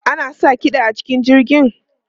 Ana sa kiɗa a cikin jirgi?